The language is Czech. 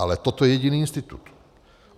Ale toto je jediný institut.